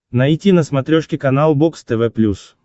найти на смотрешке канал бокс тв плюс